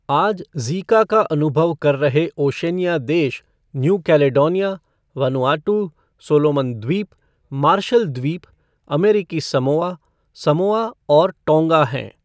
आज ज़ीका का अनुभव कर रहे ओशनिया देश न्यू कैलेडोनिया, वनुआटू, सोलोमन द्वीप, मार्शल द्वीप, अमेरिकी समोआ, समोआ और टोंगा हैं।